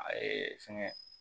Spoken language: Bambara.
A ye fɛngɛ